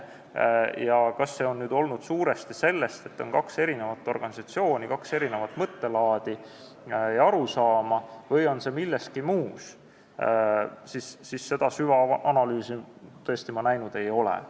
Kas see on tulenenud sellest, et on kaks organisatsiooni, kaks erinevat mõttelaadi ja arusaama, või on asi milleski muus, seda süvaanalüüsi ma tõesti näinud ei ole.